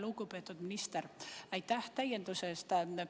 Lugupeetud minister, aitäh täienduse eest!